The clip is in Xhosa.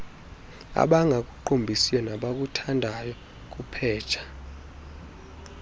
abangakuqumbisiyo nabakuthandayo kupheja